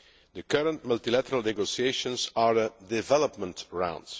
The current multilateral negotiations are a development round.